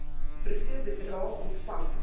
bruto bedrae ontvang